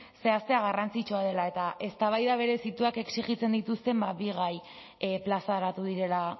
zehaztea garrantzitsua dela eta eztabaida berezituak exijitzen dituzten bi gai plazaratu direla